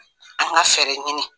An ka fɛrɛ ɲini.